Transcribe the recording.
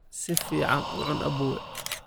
Si fiican u cun aboowe